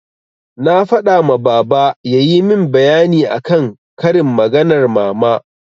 Na faɗa ma baba yayi min bayani akan karin maganar mama.